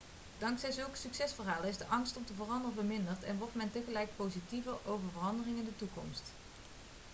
dankzij zulke succesverhalen is de angst om te veranderen verminderd en wordt men tegelijkertijd positiever over veranderingen in de toekomst